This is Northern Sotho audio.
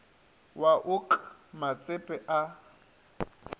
wa o k matsepe a